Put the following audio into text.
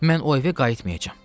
Mən o evə qayıtmayacam.